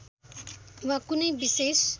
वा कुनै विशेष